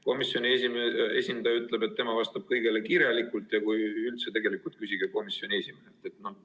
Komisjoni esindaja ütleb, et tema vastab kõigile kirjalikult ja tegelikult küsige üldse komisjoni esimehelt.